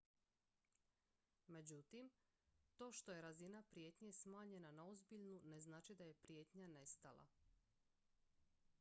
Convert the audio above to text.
međutim to što je razina prijetnje smanjena na ozbiljnu ne znači da je prijetnja nestala